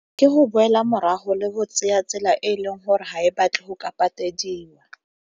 Ke go boela morago le bo tsaya tsela e e leng gore ga e batle go ka patediwa.